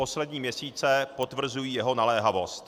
Poslední měsíce potvrzují jeho naléhavost.